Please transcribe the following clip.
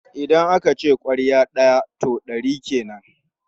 Idan aka ce ƙwarya ɗaya, to ɗari kenan.